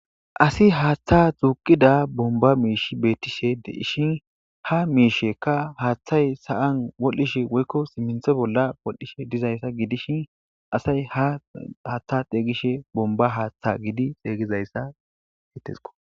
Asi haaththa tuuqida bomba miishi beettishe de ishin ha miisheka haaththay sa7an wol7ishe woykko simminthe bolla wolh7hishe dizayssa giidishin asay ha haaththa xeygishe bomba haaththa gidi xeygizayssa hetisko